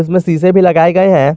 इसमें शीशे भी लगाए गये है।